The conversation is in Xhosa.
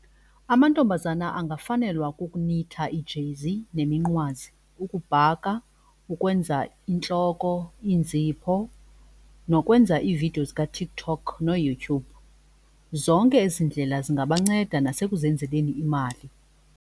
Amantombazana angafanelwanga kukunitha iijezi neminqwazi, ukubhaka, ukwenza intloko iinzipho nokwenza iividiyo zikaTikTok noYouTube. Zonke ezi ndlela zingabanceda nasekuzenzeleni imali.